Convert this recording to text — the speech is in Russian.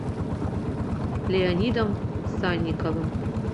леонидом санниковым